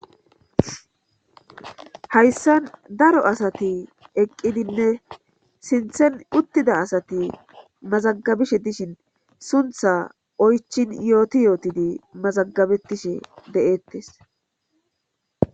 hayssan daro asati eqqidinne sinthen uttida asati mazagabishe dishin suntha oychin yooti yootidi mazagabettishe de7eettes